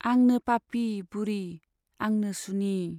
आंनो पापि बुरि , आंनो सुनि।